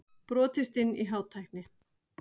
Brotist inn í Hátækni